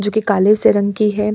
जो कि काले-सी रंग की है।